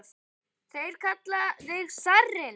Þeir kalla þig zarinn!